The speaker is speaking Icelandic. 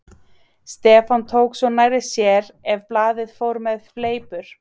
Stefán tók svo nærri sér ef blaðið fór með fleipur.